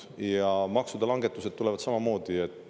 Ja maksude langetused tulevad samamoodi.